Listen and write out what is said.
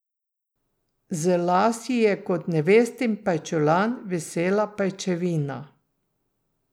Z las ji je kot nevestin pajčolan visela pajčevina.